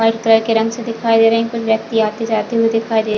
white colour के रंग से दिखाई दे रहे है कुछ व्यक्ति आते जाते हुए दिखाई दे --